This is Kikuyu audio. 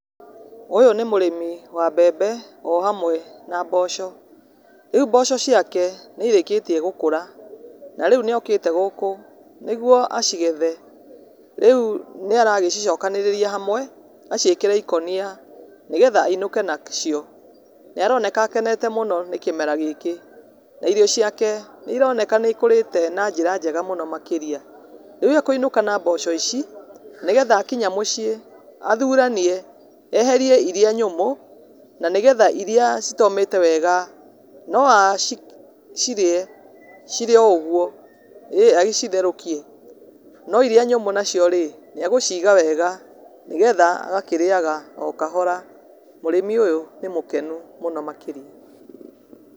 Ũyũ nĩ mũrĩmi wa mbembe o hamwe na mboco, rĩu mboco ciake nĩ irĩkĩtie gũkũra na rĩu nĩ okĩte gũkũ nĩguo acigethe, rĩu nĩ aracicokanĩrĩria hamwe acikĩre ikonia nĩgetha ainũke nacio nĩ aroneka akenete mũno nĩ kĩmera gĩkĩ na irio ciake nĩ ironeka nĩ ikũrĩte na njĩra njega mũno makĩria, rĩu akũinũka na mboco ici nĩgetha akinya mũciĩ athuranie eherie iria nyũmũ na nĩgetha iria citomĩte wega no acirie cirĩ o ũguo, ĩĩ agĩcitherũkie, no iria nyũmũ nacio rĩ no acige wega nĩgetha agakĩrĩaga o kahora mũrĩmi ũyũ nĩ mũkenu mũno makĩria.